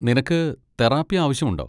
നിനക്ക് തെറാപ്പി ആവശ്യമുണ്ടോ?